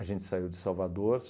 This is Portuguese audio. gente saiu de Salvador.